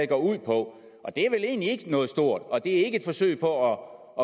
går ud på og det er vel egentlig ikke noget stort og det er ikke et forsøg på